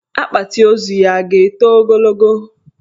Akpati ozu ya a ga-eto ogologo?